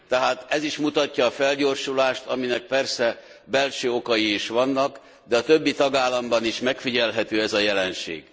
Tehát ez is mutatja a felgyorsulást, aminek persze belső okai is vannak, de a többi tagállamban is megfigyelhető ez a jelenség.